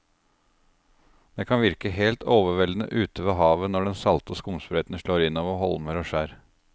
Det kan virke helt overveldende ute ved havet når den salte skumsprøyten slår innover holmer og skjær.